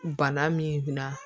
Bana min na